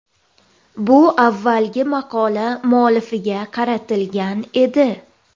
Bu avvalgi maqola muallifiga qaratilgan edi.